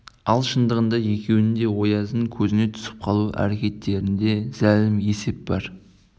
ал шындығында екеуінің де ояздың көзіне түсіп қалу әрекеттерінде зәлім есеп бар